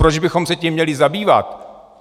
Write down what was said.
Proč bychom se tím měli zabývat?